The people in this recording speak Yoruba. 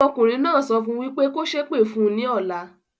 Ọmọkùnrin náà sọ fún wípé "kò sépè fún ní ọ̀la".